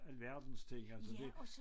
Alverdens ting altså det